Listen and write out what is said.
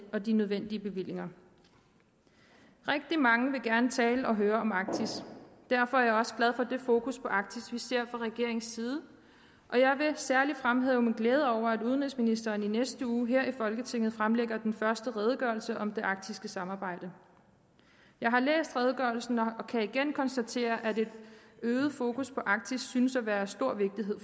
og de nødvendige bevillinger rigtig mange vil gerne tale og høre om arktis derfor er jeg også glad for det fokus på arktis vi ser fra regeringens side og jeg vil særlig fremhæve min glæde over at udenrigsministeren i næste uge her i folketinget fremlægger den første redegørelse om det arktiske samarbejde jeg har læst redegørelsen og kan igen konstatere at et øget fokus på arktis synes at være af stor vigtighed